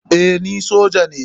Eh ni soja ne.